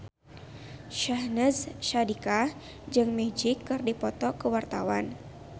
Syahnaz Sadiqah jeung Magic keur dipoto ku wartawan